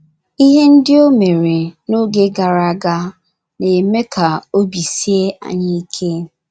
Ihe ndị o mere n’oge gara aga na - eme ka obi sie anyị ike.